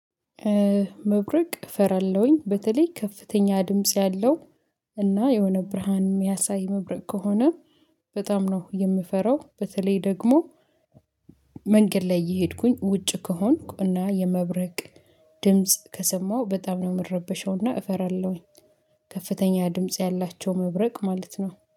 መብረቅ እፈራለሁኝ በተለይ ከፍተኛ ድምጽ ያለው እና የሆነ ብርሃን የሚያሳይ መብረቅ ከሆነ በጣም ነው የምፈራው። በተለይ ደግሞ መንገድ ላይ እየሄድኩኝ ውጭ ከሆንኩና የመብረቅ ድምጽ ከሰማሁ በጣም ነው የምረበሸውና እፈራለሁኝ። ከፍተኛ ድምጽ ያላቸው መብረቅ ማለት ነው